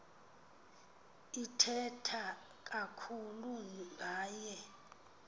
ithetha kakhulu ngaye